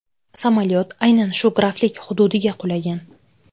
Samolyot aynan shu graflik hududiga qulagan.